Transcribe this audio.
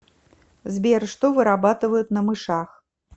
сбер что вырабатывают на мышах